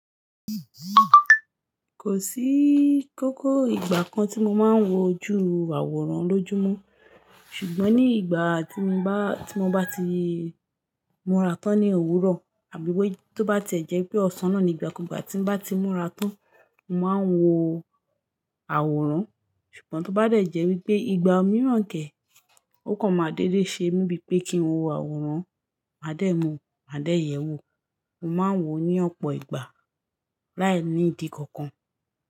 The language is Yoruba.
Kò síikókó ìgbà kan tí mo máa ń wo ju àwòrán lójúmọ́. Ṣùgbọ́n ní ìgbà tí mo bá, tí mo bá ti múra tán ní òwúrọ̀ àbí wé tí ó bá tẹ̀jẹ́ pé ọ̀sán nàa ní ìgbà ku gba tí n bá ti múra tán, mo máa ń wo àwòrán. Ṣùgbọ́n tó bá dẹ̀jẹ́ wípé ìgbà mìíràn kẹ́, ó kàn máa dédé ṣe mí bíi pé kí n wo àwòrán. Màá dẹ̀ mú, màá dẹ̀ yẹ̀ ẹ́ wò. Mo máa ń wò ó ní ọ̀pọ̀ ìgbà láìnídi kankan.